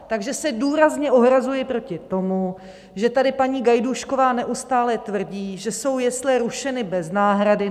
Takže se důrazně ohrazuji proti tomu, že tady paní Gajdůšková neustále tvrdí, že jsou jesle rušeny bez náhrady.